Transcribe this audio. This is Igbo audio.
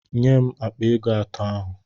Nye m akpa ego atọ ahu!